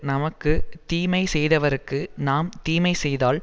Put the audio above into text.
நமக்கு தீமை செய்தவர்க்கு நாம் தீமை செய்தால்